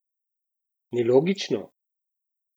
Nelogično?